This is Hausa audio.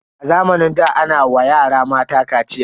A zamanin da ana wa yara mata kaciya.